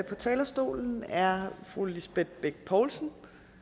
på talerstolen er fru lisbeth bech poulsen